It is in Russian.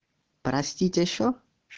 простите ещё